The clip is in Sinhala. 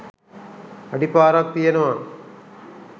අඩිපාරක් තියෙනවා.